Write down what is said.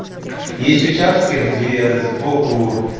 есть участки где сбоку